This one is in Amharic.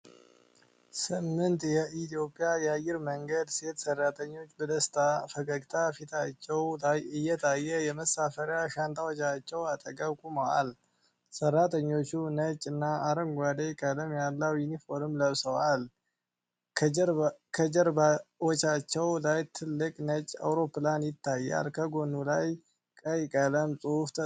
ስምንት የኢትዮጵያ አየር መንገድ ሴት ሰራተኞች በደስታ ፈገግታ ፊታቸው ላይ እየታየ የመሳፈሪያ ሻንጣዎቻቸው አጠገብ ቆመዋል። ሰራተኞቹ ነጭ እና አረንጓዴ ቀለም ያለውን ዩኒፎርም ለብሰዋል። ከጀርባዎቻቸው ላይ ትልቅ ነጭ አውሮፕላን ይታያል፣ በጎኑ ላይ ቀይ ቀለም ጽሑፍ ተጽፏል።